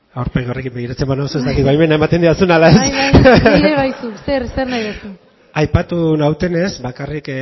aurpegi horrekin begiratzen banauzu ez dakit baimena ematen didazun ala ez bai bai ni ere bai zu zer zer nahi duzu aipatu nautenez bakarrik